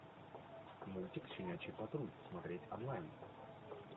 мультик щенячий патруль смотреть онлайн